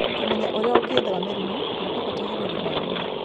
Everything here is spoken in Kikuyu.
Kũmenya ũrĩa ũngĩĩthema mĩrimũ nĩ kwa bata harĩ ũgima wa mwĩrĩ.